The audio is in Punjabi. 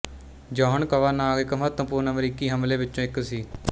ਜੋਹਨ ਕਵਾਨਾਗ ਇੱਕ ਮਹੱਤਵਪੂਰਨ ਅਮਰੀਕੀ ਹਮਲੇ ਵਿੱਚੋਂ ਇੱਕ ਸੀ